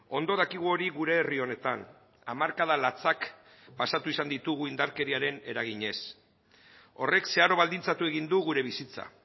ondo dakigu hori gure herri honetan hamarkada latzak pasatu izan ditugu indarkeriaren eraginez horrek zeharo baldintzatu egin du gure bizitza